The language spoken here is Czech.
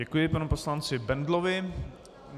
Děkuji panu poslanci Bendlovi.